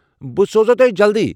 بہٕ سوزو تۄہہِ جلدی!